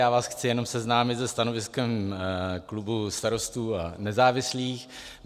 Já vás chci jenom seznámit se stanoviskem klubu Starostů a nezávislých.